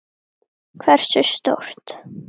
Hversu stórt?